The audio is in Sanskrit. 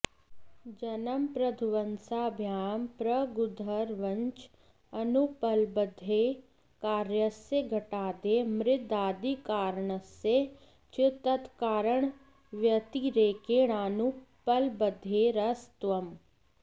जन्मप्रध्वंसाभ्यां प्रागूर्ध्वं च अनुपलब्धेः कार्यस्य घटादेः मृदादिकारणस्य च तत्कारणव्यतिरेकेणानुपलब्धेरसत्त्वम्